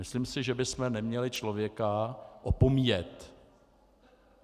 Myslím si, že bychom neměli člověka opomíjet.